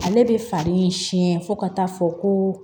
Ale bɛ fari siɲɛ fo ka taa fɔ ko